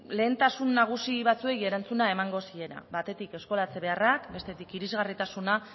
lehentasun nagusi batzuei erantzuna emango ziena batetik eskolatze beharrak bestetik irisgarritasuna